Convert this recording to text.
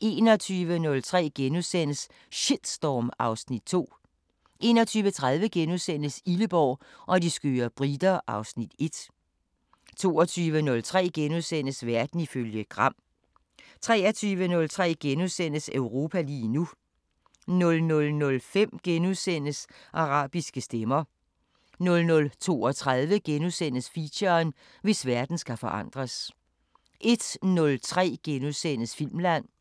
21:03: Shitstorm (Afs. 2)* 21:30: Illeborg og de skøre briter (Afs. 1)* 22:03: Verden ifølge Gram * 23:03: Europa lige nu * 00:05: Arabiske Stemmer * 00:32: Feature: Hvis verden skal forandres * 01:03: Filmland *